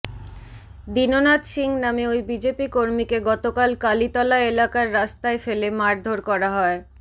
দীননাথ সিং নামে ওই বিজেপি কর্মীকে গতকাল কালিতলা এলাকায় রাস্তায় ফেলে মারধর করা হয়